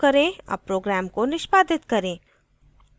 अब program को निष्पादित करें